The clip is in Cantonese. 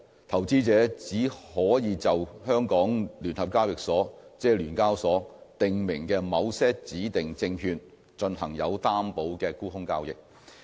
投資者只可以就香港聯合交易所訂明的某些指定證券進行有擔保的沽空交易。